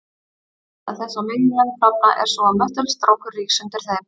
Meginástæða þess að meginlönd klofna er sú að möttulstrókur rís undir þeim.